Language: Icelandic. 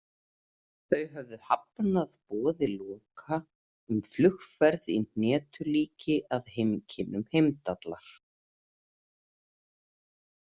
Þau höfðu hafnað boði Loka um flugferð í hnetulíki að heimkynnum Heimdallar.